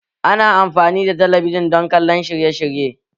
Ana amfani da talabijin don kallon shirye-shirye